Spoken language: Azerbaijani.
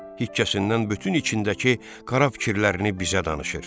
Hikkəsindən bütün içindəki qara fikirlərini bizə danışır.